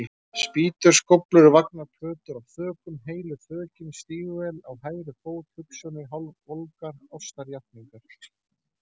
Spýtur, skóflur, vagnar, plötur af þökum, heilu þökin, stígvél á hægri fót, hugsjónir, hálfvolgar ástarjátningar.